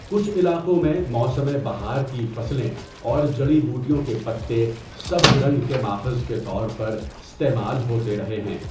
کچھ علاقوں میں، موسم بہار کی فصلیں اور جڑی بوٹیوں کے پتے سبز رنگ کے ماخذ کے طور پر استعمال ہوتے رہے ہیں۔